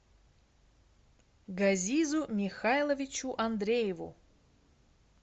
газизу михайловичу андрееву